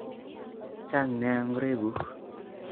Chang nia ngoroik nguk